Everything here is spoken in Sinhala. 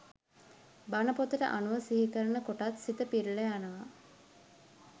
බණ පොතට අනුව සිහිකරන කොටත් සිත පිරිල යනවා.